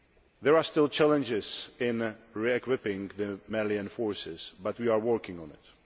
There are still challenges in re equipping the Malian forces, but we are working on it.